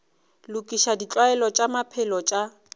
lokiša ditlwaelo tša maphelo tša